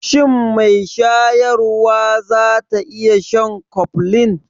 Shin mai shayarwa za ta iya shan Koflin?